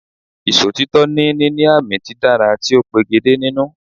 Ìsòtítọ́ ni níní àmì dídára tí ó pegedé nínú